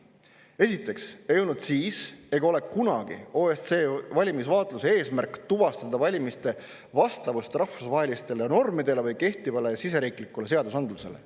Esiteks ei olnud siis ega ole kunagi OSCE valimisvaatluse eesmärk tuvastada valimiste vastavust rahvusvahelistele normidele või kehtivale siseriiklikule seadusandlusele.